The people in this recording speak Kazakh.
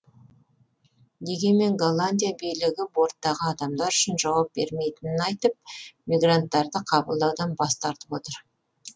дегенмен голландия билігі борттағы адамдар үшін жауап бермейтінін айтып мигранттарды қабылдаудан бас тартып отыр